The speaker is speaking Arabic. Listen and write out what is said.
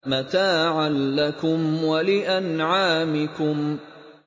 مَّتَاعًا لَّكُمْ وَلِأَنْعَامِكُمْ